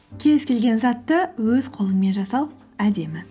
кез келген затты өз қолыңмен жасау әдемі